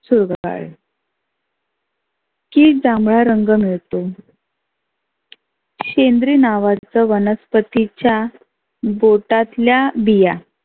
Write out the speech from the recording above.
चुरगाळले. की जांभळा रंग मिळतो. शेंद्री नावाच वनस्पतीच्या बोटातल्या बिया